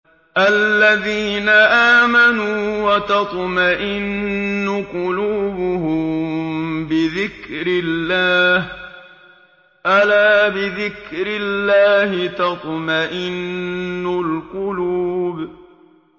الَّذِينَ آمَنُوا وَتَطْمَئِنُّ قُلُوبُهُم بِذِكْرِ اللَّهِ ۗ أَلَا بِذِكْرِ اللَّهِ تَطْمَئِنُّ الْقُلُوبُ